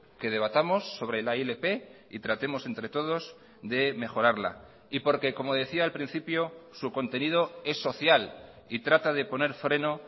que debatamos sobre la ilp y tratemos entre todos de mejorarla y porque como decía al principio su contenido es social y trata de poner freno